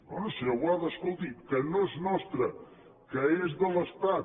bé senyor boada escolti que no és nostre que és de l’estat